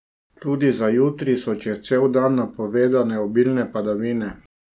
Tudi za jutri so čez cel dan napovedane obilne padavine.